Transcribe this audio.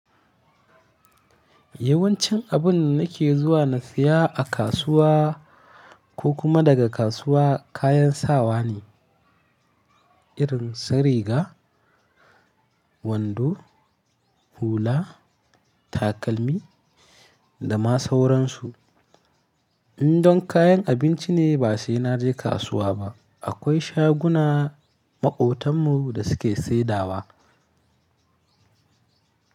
Yawancin abun nake zuwa na siya a kasuwa ko kuma daga kasuwa kayan sawa ne, irin su riga, wando, hula, takalmi da ma sauransu. In don kayan abinci ne ba sai na je kasuwa ba. Akwai shaguna maƙotan mu da su ke saidawa.